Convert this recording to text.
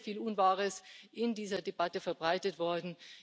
Es ist sehr, sehr viel Unwahres in dieser Debatte verbreitet worden.